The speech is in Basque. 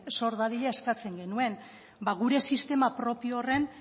sor dadila eskatzen genuen gure sistema propio horren